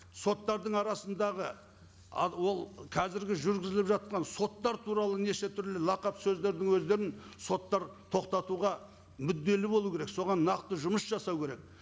соттардың арасындағы ол қазіргі жүргізіліп жатқан соттар туралы неше түрлі лақап сөздердің өздерін соттар тоқтатуға мүдделі болу керек соған нақты жұмыс жасау керек